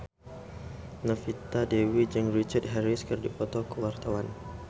Novita Dewi jeung Richard Harris keur dipoto ku wartawan